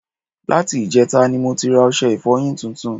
Láti ìjẹtata ni mo ti ra ọṣẹ ìfọyín tuntun